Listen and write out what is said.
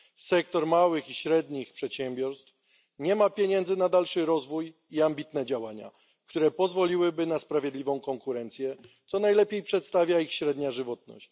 Sektor małych i średnich przedsiębiorstw nie ma pieniędzy na dalszy rozwój i ambitne działania, które pozwoliłyby na sprawiedliwą konkurencję, co najlepiej przedstawia ich średnia żywotność.